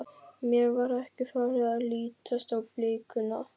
Mér var ekki farið að lítast á blikuna.